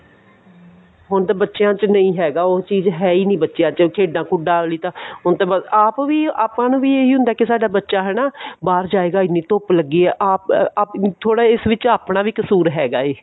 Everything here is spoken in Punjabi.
ਹੁਣ ਤਾਂ ਬੱਚਿਆ ਚ ਨਹੀਂ ਹੈਗਾ ਉਹ ਚੀਜ ਹੈ ਈ ਨਹੀਂ ਬੱਚਿਆ ਚ ਖੇਡਾਂ ਖੁਡਾਂ ਆਲੀ ਤਾਂ ਹੁਣ ਤਾਂ ਆਪ ਵੀ ਆਪਾਂ ਨੂੰ ਵੀ ਇਹੀ ਹੁੰਦਾ ਕਿ ਸਾਦਾ ਬੱਚਾ ਹਨਾ ਬਾਹਰ ਜਾਏਗਾ ਇਹਨੀਂ ਧੁੱਪ ਲੱਗੀ ਹੈ ਥੋੜਾ ਇਸ ਵਿੱਚ ਆਪਣਾ ਵੀ ਕਸੂਰ ਹੈਗਾ ਐ